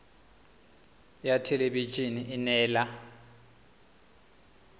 ya thelebi ene e neela